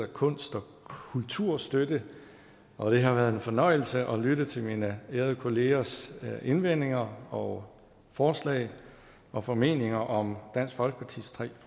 kunst og kulturstøtte og det har været en fornøjelse at lytte til mine ærede kollegers indvendinger og forslag og formeninger om dansk folkepartis tre